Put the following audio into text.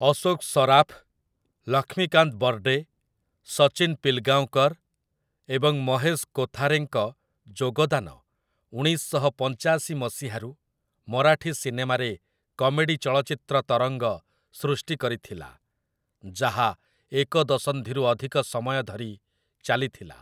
ଅଶୋକ୍ ସରାଫ୍, ଲକ୍ଷ୍ମୀକାନ୍ତ ବର୍ଡେ, ସଚିନ୍ ପିଲଗାଓଁକର୍ ଏବଂ ମହେଶ୍ କୋଥାରେଙ୍କ ଯୋଗଦାନ ଉଣେଇଶ ଶହ ପଞ୍ଚାଶି ମସିହାରୁ ମରାଠୀ ସିନେମାରେ କମେଡି ଚଳଚ୍ଚିତ୍ର ତରଙ୍ଗ ସୃଷ୍ଟି କରିଥିଲା, ଯାହା ଏକ ଦଶନ୍ଧିରୁ ଅଧିକ ସମୟ ଧରି ଚାଲିଥିଲା ।